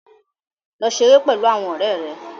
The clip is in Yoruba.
Lọ ṣeré pẹ̀lú àwọn ọ̀rẹ́ rẹ.